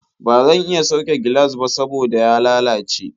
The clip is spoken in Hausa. Ba zan iya sauke gilas ba saboda ya lalace.